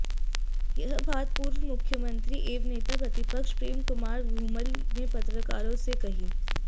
यह बात पूर्व मुख्यमंत्री एवं नेता प्रतिपक्ष प्रेम कुमार धूमल ने पत्रकारों से कही